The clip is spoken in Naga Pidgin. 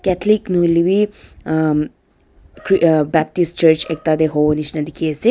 atholic nahoile wi uhm chri uhm baptist church ekta tey huwo nishina dikhi ase.